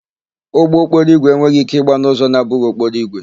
Ụgbọokporoígwè enweghị íké ịgba n'ụzọ na-abụghị okporoigwe.